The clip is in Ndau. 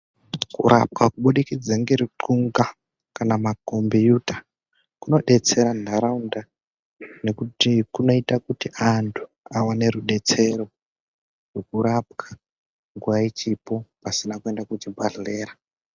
Kurapwa kuburikidza neruxunga kana macombiyuta kunodetsera ntaraunda nokuti kunoita kuti antu awane rudetsero hwekurapwa nguva ichipo pasina kuenda kuchibhedhlera.